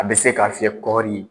A bɛ se ka fiyɛ kɔrɔn ni